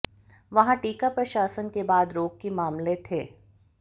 वहाँ टीका प्रशासन के बाद रोग की मामले थे